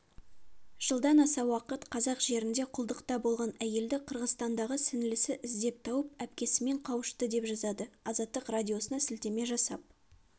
жылдан аса уақыт қазақ жерінде құлдықта болған әйелді қырғызстандағы сіңлісі іздеп тауып әпкесімен қауышты деп жазады азаттық радиосына сілтеме жасап